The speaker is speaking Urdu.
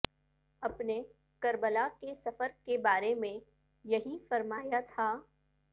اپنے کربلا کے سفر کے بارے میں یہی فرمایا تھا